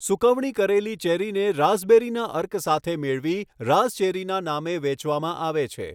સુકવણી કરેલી ચેરીને રાસબેરીના અર્ક સાથે મેળવી રાઝચેરીના નામે વેચવામાં આવે છે.